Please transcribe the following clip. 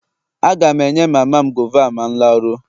Aga m enye mama m gova a ma m laruo.